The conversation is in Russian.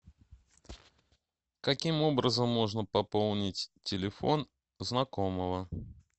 каким образом можно пополнить телефон знакомого